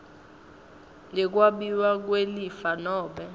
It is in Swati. yekwabiwa kwelifa nobe